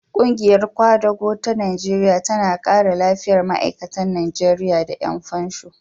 Ƙungiyar ƙwadago ta Najeriya tana kare lafiyar ma'aikata Najeriya da ƴan fansho.